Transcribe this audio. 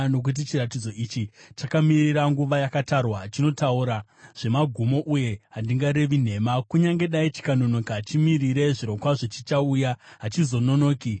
Nokuti chiratidzo ichi chakamirira nguva yakatarwa; chinotaura nezvamagumo uye hachingarevi nhema. Kunyange dai chikanonoka, chimirire; zvirokwazvo chichauya, hachizononoki.